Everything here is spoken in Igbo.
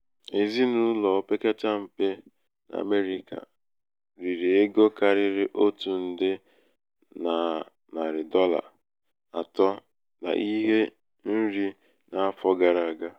èzinàụ̀lọ̀ opekata m̀pe n’àmerị̄kà rìrì ego kàrịrị otù ǹdè nà nàrị̀ dọla àtọ n’ihe nri n’afọ̄ gara àga.